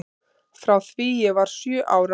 Frá því ég var sjö ára.